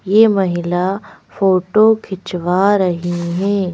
यह महिला फोटो खिंचवा रही है।